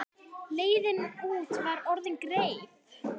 Leiðin út var orðin greið.